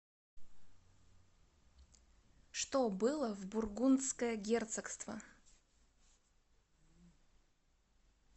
что было в бургундское герцогство